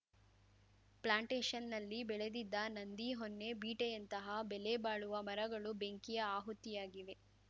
ಪ್ಲಾಂಟೇಶನ್‌ನಲ್ಲಿ ಬೆಳೆದಿದ್ದ ನಂದಿ ಹೊನ್ನೆ ಬೀಟೆಯಂತಹ ಬೆಲೆಬಾಳುವ ಮರಗಳು ಬೆಂಕಿ ಆಹುತಿಯಾಗಿವೆ